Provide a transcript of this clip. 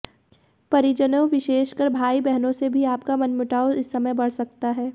परिजनों विशेषकर भाई बहनों से भी आपका मनमुटाव इस समय बढ़ सकता है